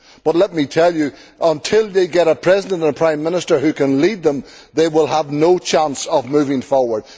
But until they get a President and a Prime Minister who can lead them, they will have no chance of moving forward.